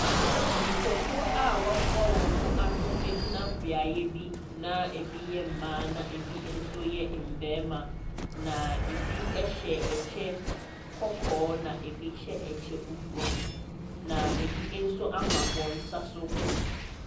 Nipakuo a wɔaboa wɔn ho ano gyina beaeɛ bi na ɛbi yɛ mmaa, na ɛbi nso yɛ mmarima. Na ɛbi hyɛ ɛkyɛ kɔkɔɔ, na ɛbi hyɛ ɛkyɛ fufuo. Na ɛbi nso ama wɔn nsa so.